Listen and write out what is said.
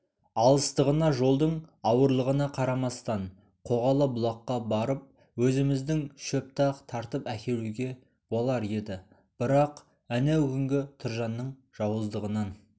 алыстығына жолдың ауырлығына қарамастан қоғалы бұлаққа барып өзіміздің шөпті-ақ тартып әкелуге болар еді бірақ әнеугүнгі тұржанның жауыздығынан